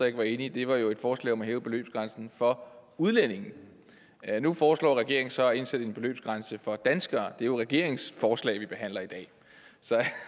ikke var enige var jo et forslag om at hæve beløbsgrænsen for udlændinge nu foreslår regeringen så at indsætte en beløbsgrænse for danskere det er jo regeringens forslag vi behandler i dag så jeg